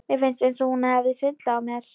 Mér fannst eins og hún hefði svindlað á mér.